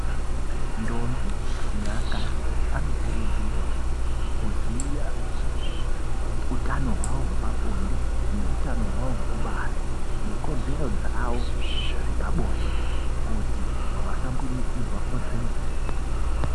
Ndombo neaakadzi anokuurudzirwa kuziya utano hwawo hwepabonde neutano hwawo hwekubara nekodzero dzawo dzepabinde kuti vasambunyikidzwa kodzero.